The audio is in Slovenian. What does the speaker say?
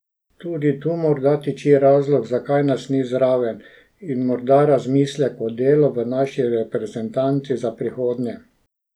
Tudi tu morda tiči razlog, zakaj nas ni zraven, in morda razmislek o delu v naši reprezentanci za prihodnje.